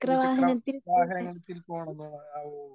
Speaker 1 ഇരുചക്ര വാഹനത്തിൽ പോകണം ന്നോ? ഓഹോ